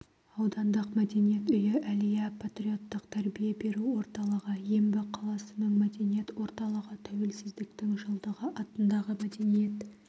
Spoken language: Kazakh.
аудандық мәдениет үйі әлия патриоттық тәрбие беру орталығы ембі қаласының мәдениет орталығы тәуелсіздіктің жылдығы атындағы мәдениет